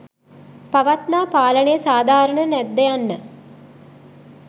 පවත්නා පාලනය සාධාරණද නැද්ද යන්න